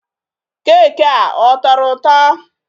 Keeki a, ọ tọrọ ụtọ?